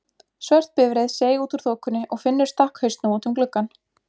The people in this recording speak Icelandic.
Svört bifreið seig út úr þokunni og Finnur stakk hausnum út um gluggann.